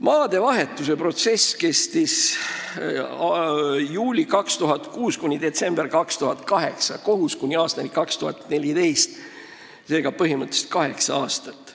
Maadevahetuse protsess: kestis juulist 2006 kuni detsembrini 2008, kohus kuni aastani 2014 ehk põhimõtteliselt kaheksa aastat.